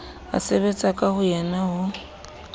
a sebetsa ka boyena ho